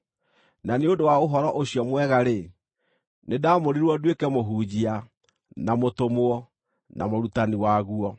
Na nĩ ũndũ wa Ũhoro-ũcio-Mwega-rĩ, nĩndamũrirwo nduĩke mũhunjia, na mũtũmwo, na mũrutani waguo.